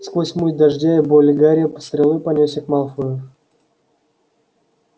сквозь муть дождя и боли гарри стрелой понёсся к малфою